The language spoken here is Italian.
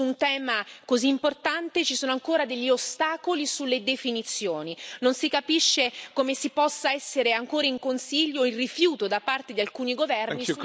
Su un tema così importante ci sono ancora degli ostacoli sulle definizioni, non si capisce come ci possa essere ancora in Consiglio il rifiuto da parte di alcuni governi...